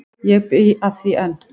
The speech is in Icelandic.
Ég bý að því enn.